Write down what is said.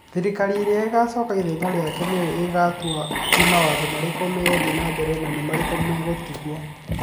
Thirikari ĩrĩa ĩgaacoka ithenya rĩake nĩyo ĩgũtua nĩ mawatho marĩkũ megũthiĩ na mbere na nĩ marĩkũ megũtigwo.